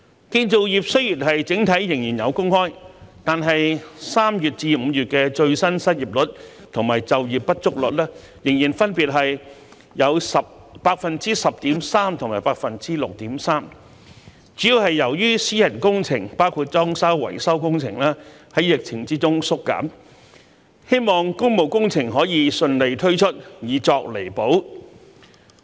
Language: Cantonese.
建造業雖然整體仍有工開，但3月至5月的最新失業率和就業不足率仍分別有 10.3% 和 6.3%， 主要是由於私人工程，包括裝修維修工程在疫情中縮減，希望工務工程可以順利推出，以作彌補。